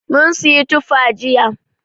Mun siyi tufa jiya.